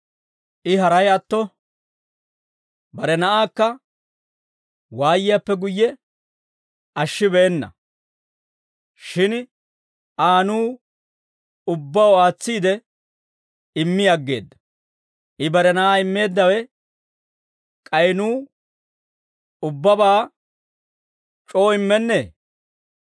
I haray atto bare Na'aakka waayiyaappe guyye ashshibeenna; shin Aa nuw ubbaw aatsiide immi aggeedda. I bare Na'aa immeeddawe k'ay nuw ubbabaa c'oo immennee?